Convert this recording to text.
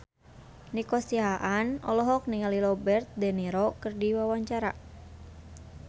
Nico Siahaan olohok ningali Robert de Niro keur diwawancara